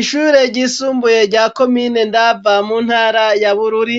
Ishure ryisumbuye rya komine ndava mu ntara ya bururi,